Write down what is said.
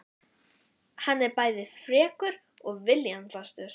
Hann er bæði frekur og viljafastur!